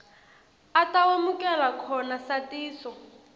atawemukela khona satiso